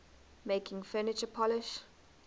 making furniture polish